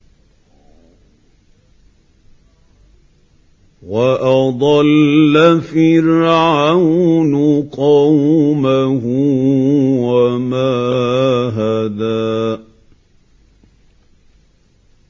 وَأَضَلَّ فِرْعَوْنُ قَوْمَهُ وَمَا هَدَىٰ